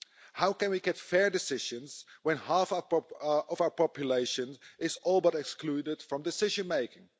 How can we get fair decisions when half of our population is all but excluded from decision making?